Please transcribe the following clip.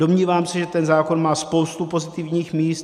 Domnívám se, že ten zákon má spoustu pozitivních míst.